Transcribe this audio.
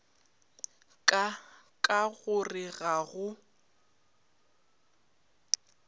ka ka gore ga go